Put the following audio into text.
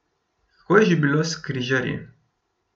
Kako je že bilo s križarji?